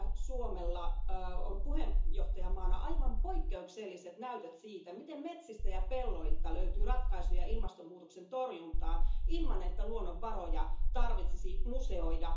Suomella on puheenjohtajamaana aivan poikkeukselliset näytöt siitä, miten metsistä ja pelloilta löytyy ratkaisuja ilmastonmuutoksen torjuntaan, ilman että luonnonvaroja tarvitsisi museoida.